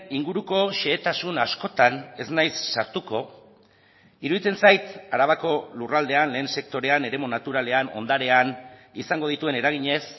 inguruko xehetasun askotan ez naiz sartuko iruditzen zait arabako lurraldean lehen sektorean eremu naturalean ondarean izango dituen eraginez